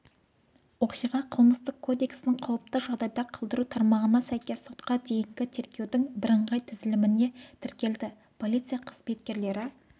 оқиға қылмыстық кодексінің қауіпті жағдайда қалдыру тармағына сәйкес сотқа дейінгі тергеудің бірыңғай тізіліміне тіркелді полиция қызметкерлері